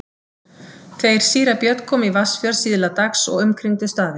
Þeir síra Björn komu í Vatnsfjörð síðla dags og umkringdu staðinn.